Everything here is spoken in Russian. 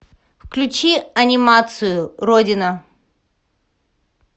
включи анимацию родина